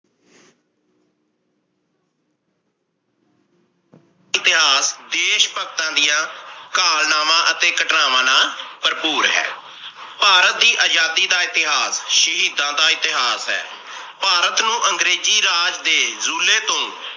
ਇਤਿਹਾਸ ਦੇਸ਼ ਭਗਤਾ ਦੀਆਂ ਕਾਲਨਾਵਾ ਅਤੇ ਘਟਨਾਵਾਂ ਨਾਲ ਭਰਪੂਰ ਹੈ। ਭਾਰਤ ਦੀ ਆਜ਼ਾਦੀ ਦੀ ਦਾ ਇਤਿਹਾਸ ਸ਼ਹੀਦਾਂ ਦਾ ਇਤਿਹਾਸ ਹੈ। ਭਾਰਤ ਨੂੰ ਅੰਗਰੇਜ਼ੀ ਰਾਜ ਦੇ ਜੂਲੇ ਤੋਂ